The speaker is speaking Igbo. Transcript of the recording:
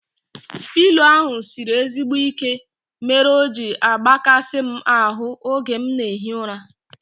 Pịlo ahu sịrị ezigbo ike mere o ji agbakasi m ahu oge m na ehi ụra